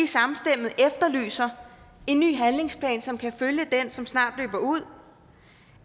samstemmende efterlyser en ny handlingsplan som kan følge den som snart løber ud